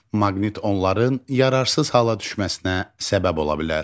Maqnit onların yararsız hala düşməsinə səbəb ola bilər.